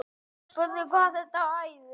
En við létum slag standa.